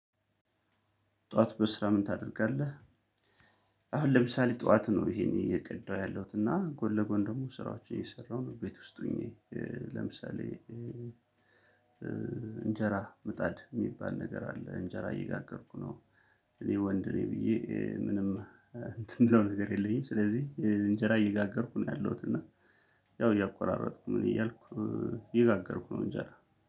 ጥዋት በስራ ምን ታደርጋለህ? አሁን ለምሳሌ ጥዋት ነው ይሄን እየቀዳው ያለሁት እና ጎል ለጎን ደግሞ ስራዎችን የሰራው ነው ቤት ውስጥ ሆኜ። ለምሳሌ። እንጀራ ምጣድ እሚባል ነገር አለ እንጀራ እየጋገርኩ ነው። እኔ ወንድነኝ ብዬ ምንም እንትን የምለው ነገር የለኝም። ስለዚህ እንጀራ እየጋገርኩ ነው ያለሁት እና። ያው እያቋራረጥኩ ምንእያልኩ። እየጋገርኩ ነው እንጀራ